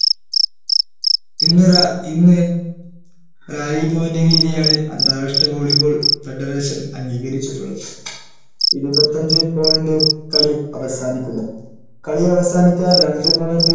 ഇന്നൊരാ ഇന്ന് point രീതിയാണ് അന്താരാഷ്ട്ര volley ball federation അംഗീകരിച്ചിട്ടുള്ളത് ഇരുപത്തഞ്ചു point കളി അവസാനിക്കുന്നു കളി അവസാനിച്ച ആ രണ്ട് point